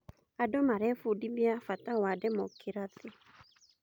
Andũ marebundithia bata wa ndemookirathĩ.